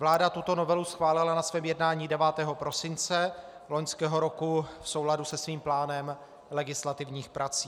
Vláda tuto novelu schválila na svém jednání 9. prosince loňského roku v souladu se svým plánem legislativních prací.